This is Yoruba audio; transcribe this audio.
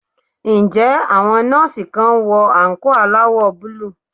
Ǹjẹ́ àwọn nurse kan ń wọ àǹkóò aláwọ̀ búlúù?